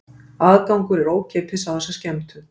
Aðgangur er ókeypis á þessa skemmtun